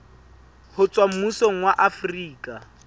ho tswa mmusong wa afrika